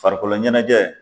Farikolo ɲɛnajɛ